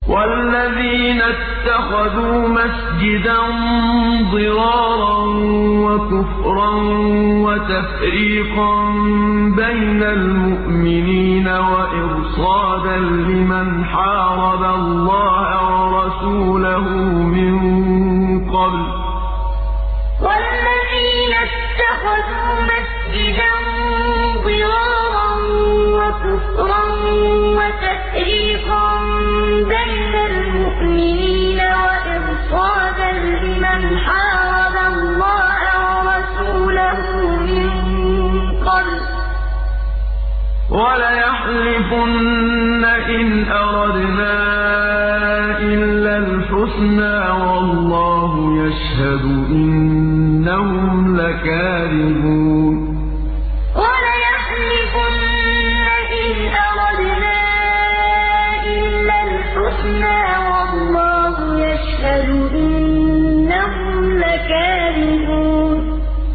وَالَّذِينَ اتَّخَذُوا مَسْجِدًا ضِرَارًا وَكُفْرًا وَتَفْرِيقًا بَيْنَ الْمُؤْمِنِينَ وَإِرْصَادًا لِّمَنْ حَارَبَ اللَّهَ وَرَسُولَهُ مِن قَبْلُ ۚ وَلَيَحْلِفُنَّ إِنْ أَرَدْنَا إِلَّا الْحُسْنَىٰ ۖ وَاللَّهُ يَشْهَدُ إِنَّهُمْ لَكَاذِبُونَ وَالَّذِينَ اتَّخَذُوا مَسْجِدًا ضِرَارًا وَكُفْرًا وَتَفْرِيقًا بَيْنَ الْمُؤْمِنِينَ وَإِرْصَادًا لِّمَنْ حَارَبَ اللَّهَ وَرَسُولَهُ مِن قَبْلُ ۚ وَلَيَحْلِفُنَّ إِنْ أَرَدْنَا إِلَّا الْحُسْنَىٰ ۖ وَاللَّهُ يَشْهَدُ إِنَّهُمْ لَكَاذِبُونَ